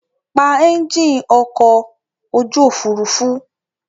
Pa ẹ́ńjìn ọkọ̀ ojú òfurufú!